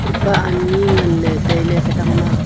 mipa anyi nganle taile katang ma.